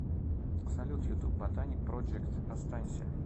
салют ютуб ботаник проджект останься